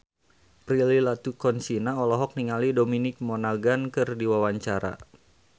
Prilly Latuconsina olohok ningali Dominic Monaghan keur diwawancara